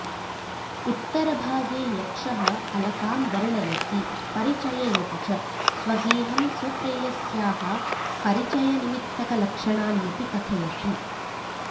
उत्तरभागे यक्षः अलकां वर्णयति परिचययति च स्वगेहं स्वप्रेयस्याः परिचयनिमित्तकलक्षणान्यपि कथयति